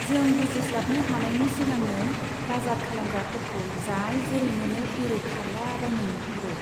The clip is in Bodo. जों बुजिस्लाबनो हानायनि सिगांनो बाजार खालामग्राफोरखौ जाय जेरै मोनो एरै खारला बायनाय नुहुरो।